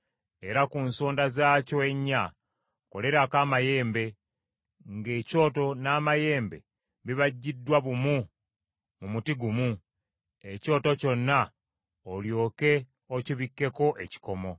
Era ku nsonda zaakyo ennya kolerako amayembe; ng’ekyoto n’amayembe bibajjiddwa bumu mu muti gumu; ekyoto kyonna olyoke okibikkeko ekikomo.